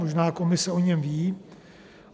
Možná Komise o něm ví.